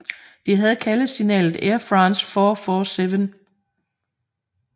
Det havde kaldesignalet Airfrans four four seven